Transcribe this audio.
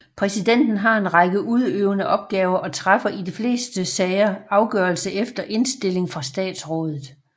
Præsidenten har en række udøvende opgaver og træffer i de fleste sager afgørelse efter indstilling fra statsrådet